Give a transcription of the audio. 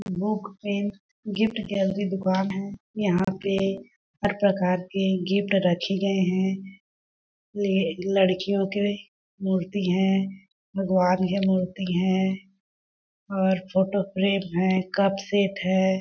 Book pen gift gallery दुकान है यहाँ पे हर प्रकार के गिफ्ट रखे गए है लिए लड़कियों के मूर्ति है भगवान के मूर्ती है और फोटो फ्रेम है कप सेट है।